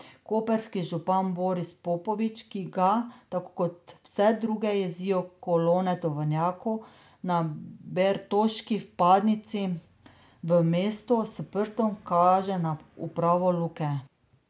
Koprski župan Boris Popovič, ki ga, tako kot vse druge, jezijo kolone tovornjakov na bertoški vpadnici v mesto, s prstom kaže na upravo Luke.